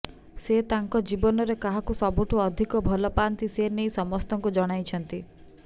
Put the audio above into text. ସେ ତାଙ୍କ ଜୀବନରେ କାହାକୁ ସବୁଠୁ ଅଧିକ ଭଲ ପାଆନ୍ତି ସେ ନେଇ ସମସ୍ତଙ୍କୁ ଜଣାଇଛନ୍ତି